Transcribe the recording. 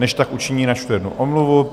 Než tak učiní, načtu jednu omluvu.